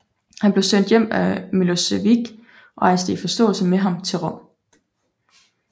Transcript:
Han blev sendt hjem af Milošević og rejste i forståelse med ham til Rom